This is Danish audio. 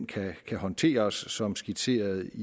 kan håndteres som skitseret